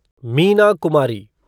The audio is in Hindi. मीना कुमारी